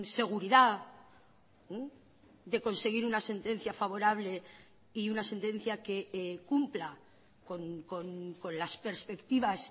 seguridad de conseguir una sentencia favorable y una sentencia que cumpla con las perspectivas